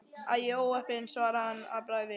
Æi, óheppin svaraði hann að bragði.